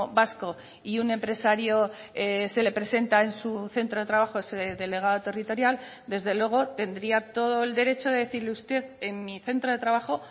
vasco y un empresario se le presenta en su centro de trabajo ese delegado territorial desde luego tendría todo el derecho de decirle usted en mi centro de trabajo